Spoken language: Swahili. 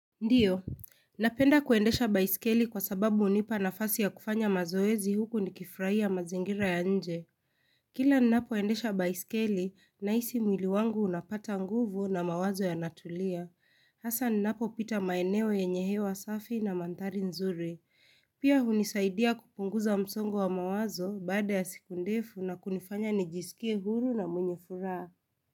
Ndio Napenda kuendesha baisikeli kwa sababu hunipa nafasi ya kufanya mazoezi huku nikifurahia mazingira ya nje Kila ninapoendesha baisikeli, nahisi mwili wangu unapata nguvu na mawazo yanatulia Hasa ninapo pita maeneo yenye hewa safi na mandhari nzuri Pia hunisaidia kupunguza msongo wa mawazo baada ya siku ndefu na kunifanya nijisikie huru na mwenye furaha.